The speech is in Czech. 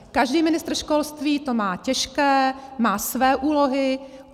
Každý ministr školství to má těžké, má své úlohy.